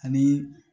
Ani